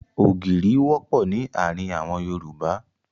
Ògìrì wọ́pọ̀ ní àárín àwọn Yorùbá.